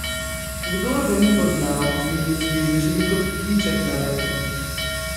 Kdor ga ni poznal, bi si mislil, da živi kot ptiček na veji.